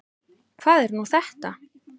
Hvað er nú þetta?